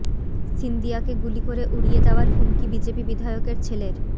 সিন্দিয়াকে গুলি করে উড়িয়ে দেওয়ার হুমকি বিজেপি বিধায়কের ছেলের